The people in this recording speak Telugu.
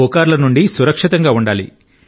పుకార్ల నుండి సురక్షితంగా ఉండాలి